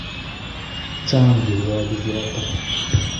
Chang kirwokik yoto